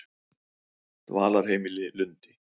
Dvalarheimili Lundi